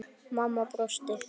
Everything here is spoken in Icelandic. Mamma brosti.